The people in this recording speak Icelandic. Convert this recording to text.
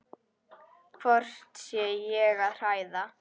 Hvort ég sé að hræða.